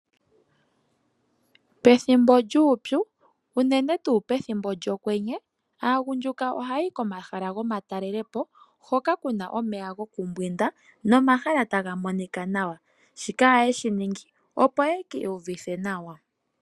Pethimbo lyuupyu, uunene tuu pethimbo lyokwenye, aagundjuka oha ya yi komahala gomatalelepo hoka ku na omeya gokumbwinda nomahala ta ga monika nawa. Shika oha ye shi ningi opo ye kiiyuvithe nawa.